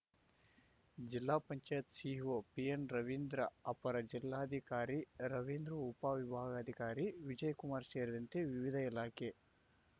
ಜಿಲ್ಲಾ ಪಂಚಾಯತ್ ಸಿಇಒ ಪಿಎನ್‌ರವೀಂದ್ರ ಅಪರ ಜಿಲ್ಲಾಧಿಕಾರಿ ರವೀಂದ್ರ ಉಪವಿಭಾಗಾಧಿಕಾರಿ ವಿಜಯಕುಮಾರ್‌ ಸೇರಿದಂತೆ ವಿವಿಧ ಇಲಾಖೆ